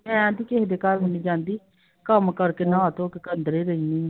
ਮੈਂ ਤੇ ਕਿਸੇ ਦੇ ਘਰ ਵੀ ਨੀ ਜਾਂਦੀ, ਕੰਮ ਕਰਕੇ ਨਾ ਧੋ ਕੇ ਅੰਦਰੇ ਰਹਿਨੀ ਆl